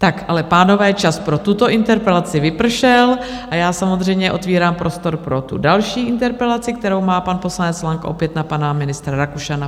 Tak ale pánové, čas pro tuto interpelaci vypršel, a já samozřejmě otevírám prostor pro tu další interpelaci, kterou má pan poslanec Lang opět na pana ministra Rakušana.